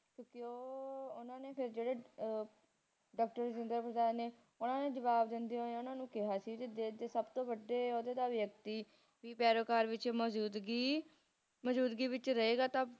ਕਿਉਕਿ ਉਹ ਹਨ ਨੇ ਫੇਰ ਜਿਹੜੇ ਉਹ ਡਾਕਟਰ ਰਾਜਿੰਦਰ ਪ੍ਰਸਾਦ ਨੇ ਓਹਨਾ ਨੇ ਜਵਾਬ ਦਿੰਦੇ ਹੋਏ ਓਹਨਾ ਨੂੰ ਕਿਹਾ ਸੀ ਕਿ ਜੇ ਸਭ ਤੋਂ ਵੱਡੇ ਔਹਦੇਦਾਰ ਵਿਅਕਤੀ ਪੈਰੋਗਾਰ ਵਿਚ ਮੌਜੂਦਗੀ ਮੌਜੂਦਗੀ ਵਿਚ ਰਹੇਗਾ ਤਾ